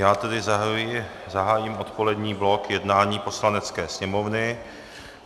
Já tedy zahájím odpolední blok jednání Poslanecké sněmovny.